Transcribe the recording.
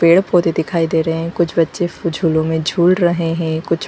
पेड़ पौधे दिखाई दे रहे है कुछ बच्चे झूलो मैं झूल रहे है कुछ--